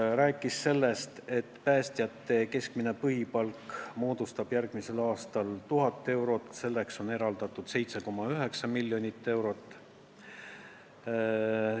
Ta rääkis ka sellest, et päästjate keskmine põhipalk on järgmisel aastal 1000 eurot ja selleks on eraldatud 7,9 miljonit eurot.